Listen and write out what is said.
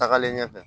Tagalen ɲɛfɛ